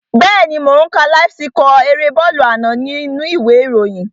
Bẹ́ẹ̀ni mò ó ń ka láíf síkọ̀ erée bọ́ọ̀lù àná nínú u ìwé ìròyìn